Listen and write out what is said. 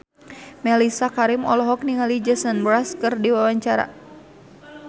Mellisa Karim olohok ningali Jason Mraz keur diwawancara